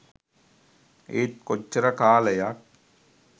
ඒත් කොච්චර කාලයක්